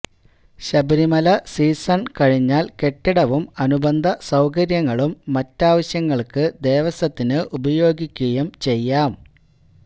Sabarimala season കഴിഞ്ഞാൽ കെട്ടിടവും അനുബന്ധസൌകര്യങ്ങളും മറ്റാവശ്യങ്ങൾക്ക് ദേവസ്വത്തിന് ഉപയോഗിക്കുകയും ചെയ്യാം